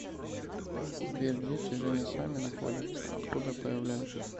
сбер дети же не сами находятся откуда появляются